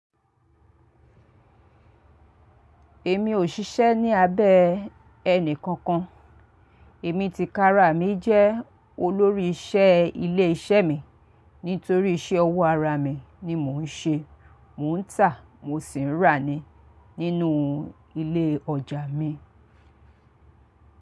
Èmi ò ṣiṣẹ́ ní abẹ́ ẹnì kankan. Èmi tìkara mí jẹ́ olórí iṣẹ́ ilé iṣẹ́ mi nítorí iṣẹ́ ọwọ́ ara mi ni mò ń ṣe. Mò ń tà, mo sì ń rà ni nínú ilé ọjà mi.